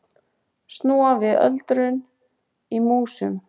Snúa við öldrun í músum